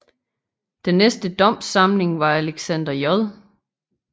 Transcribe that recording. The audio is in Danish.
Den næste domssamling var Alexander J